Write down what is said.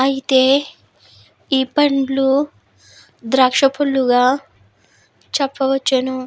అయితే ఈ పండ్లు ద్రాక్ష పళ్ళుగా చెప్పవచ్చును.